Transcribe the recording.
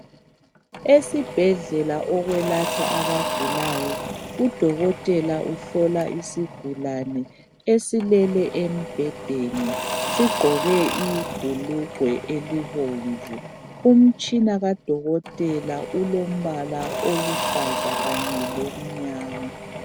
Esibhedlela okwelatshwa abagulayo udokotela uhlola isigulani esilele embhedeni sigqoke ibhulugwe elibomvu. Umtshina kadokotela ulompala oluhlaza kanye lomnyama.